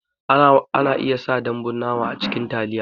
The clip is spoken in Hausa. Ana iya sa dambun nama cikin taliya